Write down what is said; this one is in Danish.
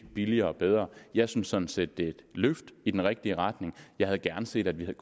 billigere og bedre jeg synes sådan set det er et løft i den rigtige retning jeg havde gerne set at vi havde